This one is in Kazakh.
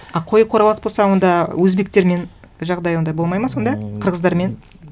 а қой қоралас болса онда өзбектермен жағдай ондай болмайды ма сонда қырғыздармен